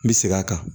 N bɛ segin a kan